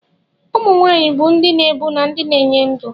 Ụmụ nwanyị bụ ndị na-ebu na ndị na-enye ndụ.